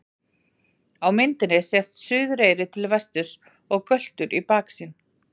Á myndinni sést Suðureyri til vesturs og Göltur í baksýn.